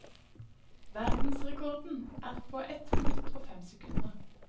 Verdensrekorden er på ett minutt og fem sekunder.